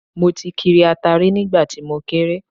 Mo ti kiri ata rí nígbà tí mo kéré